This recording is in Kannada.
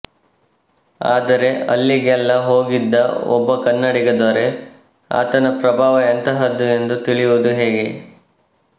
ಆದರೆ ಅಲ್ಲಿಗೆಲ್ಲಾ ಹೋಗಿದ್ದ ಒಬ್ಬ ಕನ್ನಡಿಗ ದೊರೆ ಆತನ ಪ್ರಭಾವ ಎಂಥಹದ್ದು ಎಂದು ತಿಳಿಯುವುದು ಹೇಗೆ